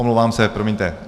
Omlouvám se, promiňte.